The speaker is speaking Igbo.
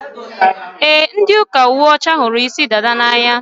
E, ndị ụka uwe ọcha hụrụ isi dada n'anya.